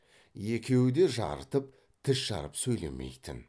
екеуі де жарытып тіс жарып сөйлемейтін